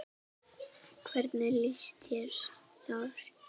Hvernig lýsir þú þér?